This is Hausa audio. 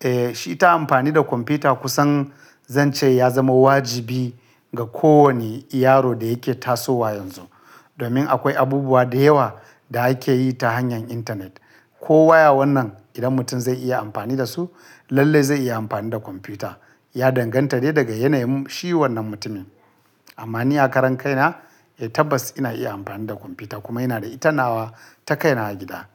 Eh shi ta amfani da kwamfuta kusan zan ce ya zama wajibi ga kowane yaro da yake tasowa yanzu. Domin akwai abubuwa da yawa da ake yi ta hanyar internet. Ko waya wannan idan mutum zai iya amfani dasu lallai zai iya amfani da kwamfuta. Ya danganta ne daga yanayin shi wannan mutumin. Amma ni a karan kaina eh tabbas ina iya amfani da kwamfuta kuma ina da ita nawa ta kaina a gida.